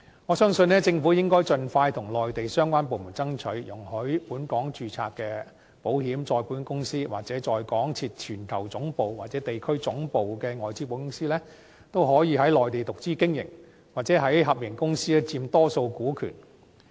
我相信，政府應盡快與內地相關部門爭取，容許本港註冊的保險、再保險公司，或在港設全球總部或地區總部的外資保險公司，可以在內地獨資經營，或在合營公司佔多數股權。